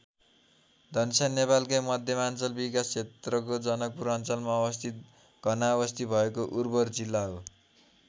धनुषा नेपालको मध्यमाञ्चल विकास क्षेत्रको जनकपुर अञ्चलमा अवस्थित घनाबस्ती भएको उर्वर जिल्ला हो।